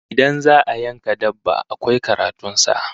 Idan za'a yanka dabba, akwai karatun sa